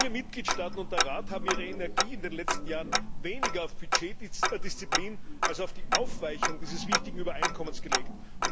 Viele Mitgliedstaaten und der Rat haben ihre Energie in den letzten Jahren weniger auf Haushaltsdisziplin als auf die Aufweichung dieses wichtigen Übereinkommens gelegt.